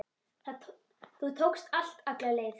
Þú tókst allt alla leið.